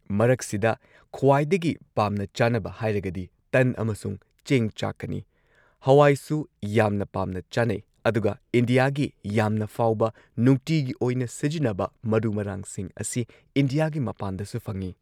ꯃꯔꯛꯁꯤꯗ ꯈ꯭ꯋꯥꯏꯗꯒꯤ ꯄꯥꯝꯅ ꯆꯥꯅꯕ ꯍꯥꯏꯔꯒꯗꯤ ꯇꯟ ꯑꯃꯁꯨꯡ ꯆꯦꯡ ꯆꯥꯛꯀꯅꯤ ꯍꯋꯥꯏꯁꯨ ꯌꯥꯝꯅ ꯄꯥꯝꯅ ꯆꯥꯅꯩ ꯑꯗꯨꯒ ꯏꯟꯗꯤꯌꯥꯒꯤ ꯌꯥꯝꯅ ꯐꯥꯎꯕ ꯅꯨꯡꯇꯤꯒꯤ ꯑꯣꯏꯅ ꯁꯤꯖꯤꯟꯅꯕ ꯃꯔꯨ ꯃꯔꯥꯡꯁꯤꯡ ꯑꯁꯤ ꯏꯟꯗ꯭ꯌꯥꯒꯤ ꯃꯄꯥꯟꯗꯁꯨ ꯐꯪꯉꯤ꯫